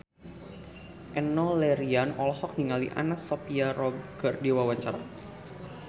Enno Lerian olohok ningali Anna Sophia Robb keur diwawancara